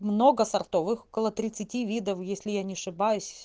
много сортовых около тридцати видов если я не ошибаюсь